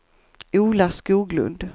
Ola Skoglund